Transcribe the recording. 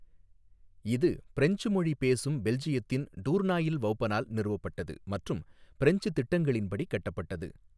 இது ஃபிரெஞ்ச் மொழி பேசும் பெல்ஜியத்தின் டூர்னாயில் வௌபனால் நிறுவப்பட்டது மற்றும் ஃபிரெஞ்ச் திட்டங்களின்படி கட்டப்பட்டது.